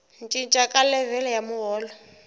cinca ka levhele ya muholo